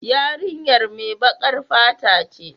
Yarinyar mai bakar fata ce.